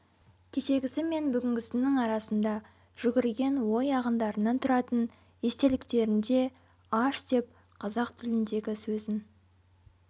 кешегісі мен бүгінгісінің арасында жүгірген ой ағындарынан тұратын естеліктерінде аш деп қазақ тіліндегі сөзін